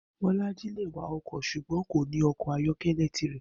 Bó̩lájí lè wa o̩kò̩ s̩ùgbó̩n kò ní o̩kò̩ ayó̩ké̩lé̩ tirè̩